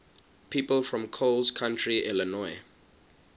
people from coles county illinois